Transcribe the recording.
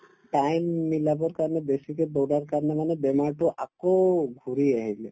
time মিলাবৰ কাৰণে বেছিকে দৌৰাৰ কাৰণে মানে বেমাৰটো আকৌ ঘূৰি আহিলে